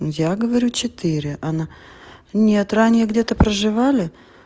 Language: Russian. я говорю четыре она нет ранее где-то проживали